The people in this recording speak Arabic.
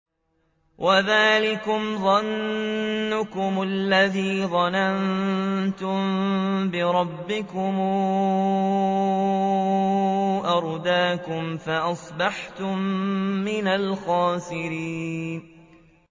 وَذَٰلِكُمْ ظَنُّكُمُ الَّذِي ظَنَنتُم بِرَبِّكُمْ أَرْدَاكُمْ فَأَصْبَحْتُم مِّنَ الْخَاسِرِينَ